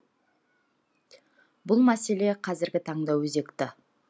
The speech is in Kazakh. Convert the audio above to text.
бұл мәселе қазіргі таңда өзекті